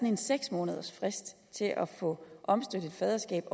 en seks månedersfrist til at få omstødt et faderskab